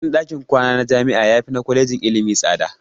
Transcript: Kuɗin ɗakin kwana na jami'a yafi na kwalejin ilimi tsada.